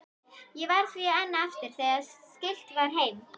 Ég varð því einn eftir þegar siglt var heim.